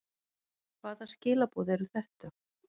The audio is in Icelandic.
Hvaða skilaboð eru þetta?